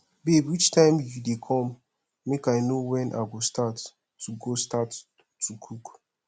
babe which time you dey come make i know when i go start to go start to cook